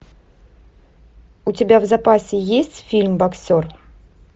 у тебя в запасе есть фильм боксер